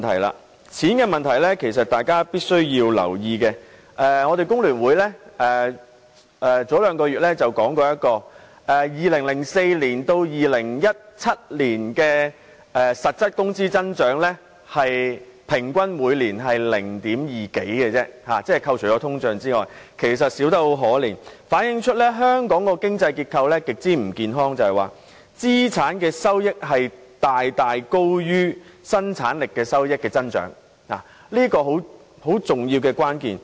關於錢的問題，其實大家必須留意，香港工會聯合會在兩個月前公布由2004年至2017年，在扣除通脹後，每年實質工資平均只有 0.2 多個百分點的增長，其實少得可憐，反映香港的經濟結構極不健康，即是說資產收益遠高於生產力收益的增長，而這是很重要的關鍵。